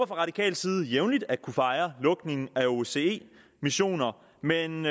fra radikal side jævnligt at kunne fejre lukningen af osce missioner men